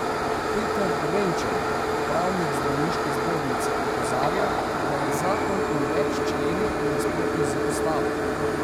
Peter Renčel, pravnik zdravniške zbornice, opozarja, da je zakon v več členih v nasprotju z ustavo.